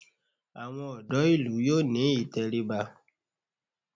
Àwọn ọ̀dọ́ ìlú yóò ní ìtẹríba